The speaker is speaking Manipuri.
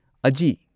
ꯑꯖꯤ